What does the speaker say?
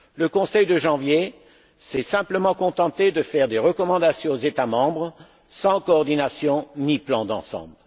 Le Conseil de janvier s'est simplement contenté de faire des recommandations aux États membres, sans coordination ni plan d'ensemble.